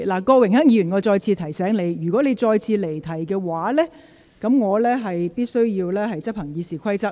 郭榮鏗議員，我再次提醒你，如果你再次離題的話，我必須執行《議事規則》。